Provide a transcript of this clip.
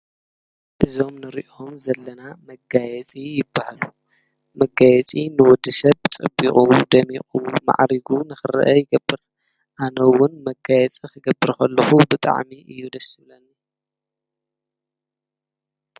እዞም ንሪኦም ዘለና መጋየፂ ይበሃሉ፡፡ መጋየፂ ንወዲ ሰብ ፀቢቑን ደሚቑን ማዕሪጉን ኽረአ ይገብር፡፡ ኣነ ውን መጋየፂ ኽገብር ኸለኹ ብጣዕሚ እዩ ደስ ዝብለኒ፡፡